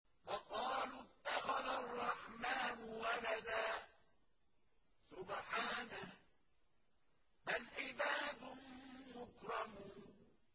وَقَالُوا اتَّخَذَ الرَّحْمَٰنُ وَلَدًا ۗ سُبْحَانَهُ ۚ بَلْ عِبَادٌ مُّكْرَمُونَ